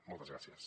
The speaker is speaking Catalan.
moltes gràcies